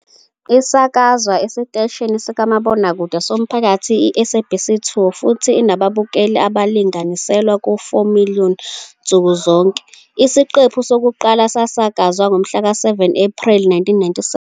Isakazwa esiteshini sikamabonakude somphakathi i- SABC 2, futhi inababukeli abalinganiselwa ku-4 million nsuku zonke. Isiqephu sokuqala sasakazwa ngomhlaka-7 Ephreli 1997.